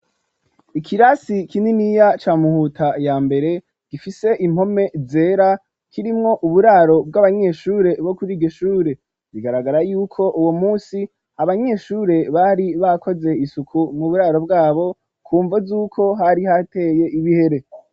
Ikirasi kininiya ca muhuta ya mbere gifise impome zera kirimwo uburaro bw'abanyeshure bo kuri iryo shure bigaragara yuko uwo munsi abanyeshure bari bakoze isuku mu buraro bwabo ku mvo z'uko hari hateye ibihere.